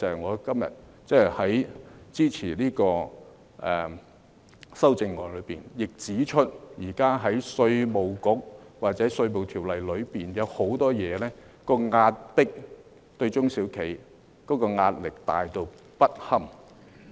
我今天支持修正案之餘，亦要指出現時稅務局或《稅務條例》當中，有很多對中小企的壓迫，而且壓力巨大不堪。